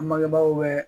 An bangebaaw bɛ